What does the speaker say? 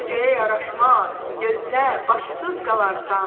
Bu qocaya yaraşmaz, gözlə, başsız qalarsan.